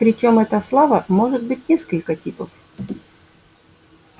причём эта слава может быть несколько типов